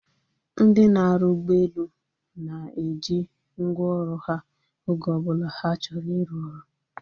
Ndị na-arụ ụgbọelu na-eji ngwa ọrụ ha oge ọbụla ha chọrọ iru ọrụ